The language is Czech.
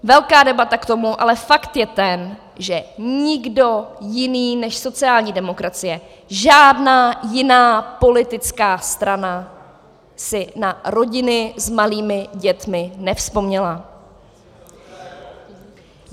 Velká debata k tomu, ale fakt je ten, že nikdo jiný než sociální demokracie, žádná jiná politická strana si na rodiny s malými dětmi nevzpomněla!